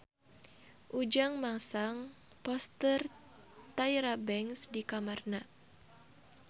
Ujang masang poster Tyra Banks di kamarna